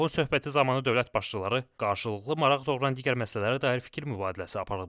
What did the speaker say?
Telefon söhbəti zamanı dövlət başçıları qarşılıqlı maraq doğuran digər məsələlərə dair fikir mübadiləsi aparıblar.